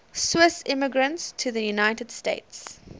swiss immigrants to the united states